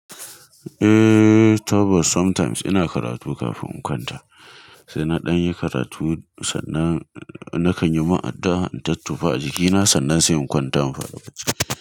Eh, Tabbas sometimes ina karatu kafin in kwanta, sai na danyi karatu sannan na kan yi ma addu'a in tottofa a jikina sannan sai in kwanta in fara bacci.